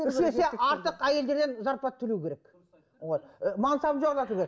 үш есе артық әйелдерден зарплата төлеу керек вот ы мансабын жоғарлату керек